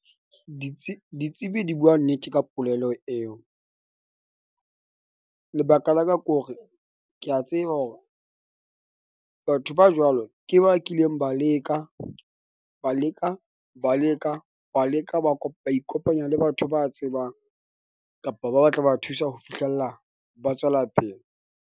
Ditsebi di bua nnete. Ka polelo eo, lebaka la ka ke hore ke a tseba hore batho ba jwalo ke ba kileng ba leka ba leka ba leka wa leka ba ikopanya le batho ba tsebang kapa ba tla ba thusa ho fihlella ba tswela pele.